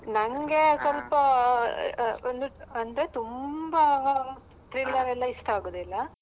ನನ್ಗೆ ಸ್ವಲ್ಪ ಆ ಆ ಒಂದು ಅಂದ್ರೆ ತುಂಬಾ thriller ಎಲ್ಲ ಇಷ್ಟ ಆಗುದಿಲ್ಲ .